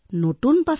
ৱাহ কি খাদ্য